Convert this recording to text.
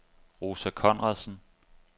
Rosa Conradsen